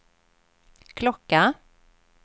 klocka